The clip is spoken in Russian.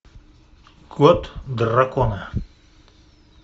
код дракона